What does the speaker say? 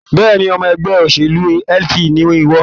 Bẹ́ẹ̀ni, ọmọ ẹgbẹ́ òṣèlú LP ni ìwọ